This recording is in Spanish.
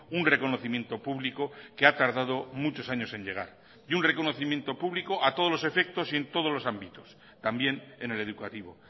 un reconocimiento público que ha tardado muchos años en llegar y un reconocimiento público a todos los efectos y en todos los ámbitos también en el educativo